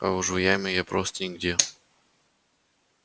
а уж в яме я просто нигде